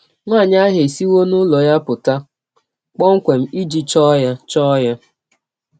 Nwanyị ahụ esiwọ n’ụlọ ya pụta kpọmkwem iji chọọ ya. chọọ ya.